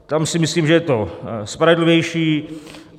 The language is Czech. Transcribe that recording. Tam si myslím, že je to spravedlivější.